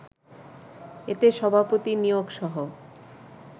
এতে সভাপতি নিয়োগসহ